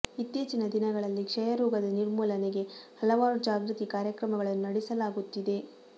ಇತ್ತೀಚಿನ ದಿನಗಳಲ್ಲಿ ಕ್ಷಯ ರೋಗದ ನಿರ್ಮೂಲನೆಗೆ ಹಲವಾರು ಜಾಗೃತಿ ಕಾರ್ಯಕ್ರಮಗಳನ್ನು ನಡೆಸಲಾಗುತ್ತಿದೆ